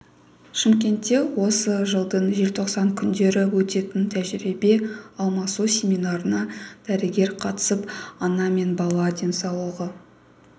шымкентте осы жылдың желтоқсан күндері өтетін тәжірибе алмасу семинарына дәрігер қатысып ана мен бала денсаулығын